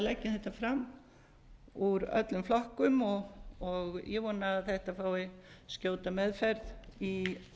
leggjum þetta fram úr öllum flokkum og ég vona að þetta fái skjóta meðferð í